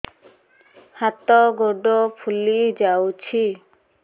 ହାତ ଗୋଡ଼ ଫୁଲି ଯାଉଛି